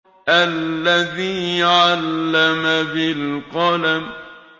الَّذِي عَلَّمَ بِالْقَلَمِ